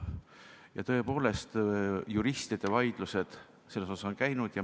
Ja tõepoolest, juristide vaidlused selle üle on toimunud.